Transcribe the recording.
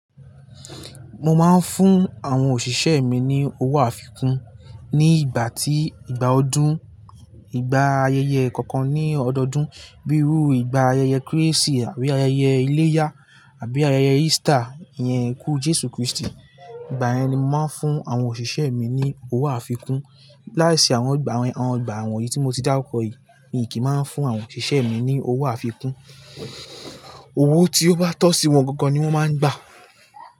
Mo máa ń fún àwọn òṣìṣẹ́ mi ní owó àfikún ní ìgbà tí ìgbà ọdún, ìgbà ayẹyẹ kọ̀ọ̀kan ní ọdọọdún. Bíi irú ìgbà ayẹyẹ Kérésì àbí ayẹyẹ iléyá àbí ayẹyẹ Easter, ìyẹn ikú Jésù Kristi. Ìgbà yẹn ni mo máa ń fún àwọn òṣìṣẹ́ mi ní owó àfikún. Láì sí àwọn ìgbà wọ̀nyí tí mo ti dárúkọ yìí, mi kì í máa ń fún àwọn òṣìṣẹ́ mi ní owó àfikún. Owó tí ó bá tọ́ sí wọn gangan ni wọ́n máa ń gbà.